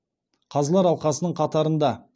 қазылар алқасының қатарында